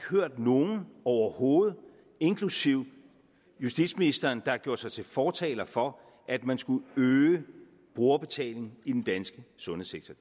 hørt nogen overhovedet inklusive justitsministeren der har gjort sig til fortaler for at man skulle øge brugerbetalingen i den danske sundhedssektor